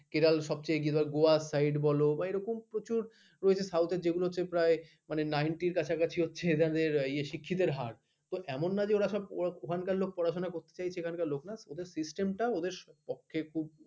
কেরাল সবচেয়ে এগিয়ে গোয়া side বল বা এরকম প্রচুর south যেগুলো প্রায় নিঘত্য র কাছাকাছি হচ্ছে এধার নেই শিক্ষিতের হার তো এমন নয় যে ওরা সব ওখানকার লোক পড়াশোনা করতে চাইছে ওখানকার লোক না system ওদের পক্ষেপে ।